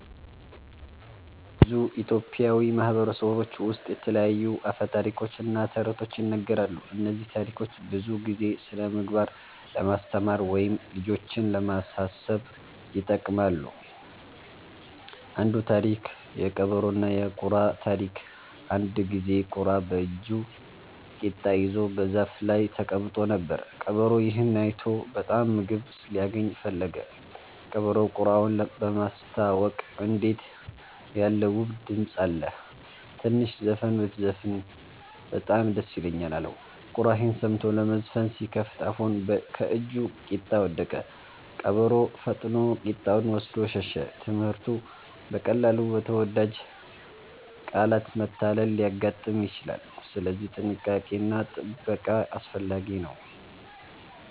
አዎ፣ በብዙ ኢትዮጵያዊ ማህበረሰቦች ውስጥ የተለያዩ አፈ ታሪኮች እና ተረቶች ይነገራሉ። እነዚህ ታሪኮች ብዙ ጊዜ ስነ-ምግባር ለማስተማር ወይም ልጆችን ለማሳሰብ ይጠቅማሉ። አንዱ ታሪክ (የቀበሮና የቁራ ታሪክ) አንድ ጊዜ ቁራ በእጁ ቂጣ ይዞ በዛፍ ላይ ተቀምጦ ነበር። ቀበሮ ይህን አይቶ በጣም ምግብ ሊያገኝ ፈለገ። ቀበሮው ቁራውን በማስታወቅ “እንዴት ያለ ውብ ድምፅ አለህ! ትንሽ ዘፈን ብትዘፍን በጣም ደስ ይለኛል” አለው። ቁራ ይህን ሰምቶ ለመዘፈን ሲከፍት አፉን ከእጁ ቂጣ ወደቀ። ቀበሮ ፈጥኖ ቂጣውን ወስዶ ሸሸ። ትምህርቱ: በቀላሉ በተወዳጅ ቃላት መታለል ሊያጋጥም ይችላል፣ ስለዚህ ጥንቃቄ እና ጥበቃ አስፈላጊ ነው።